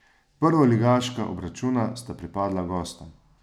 Prvoligaška obračuna sta pripadla gostom.